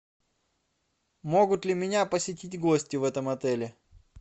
могут ли меня посетить гости в этом отеле